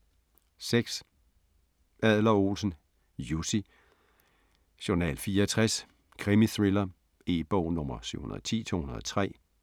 6. Adler-Olsen, Jussi: Journal 64: krimithriller E-bog 710203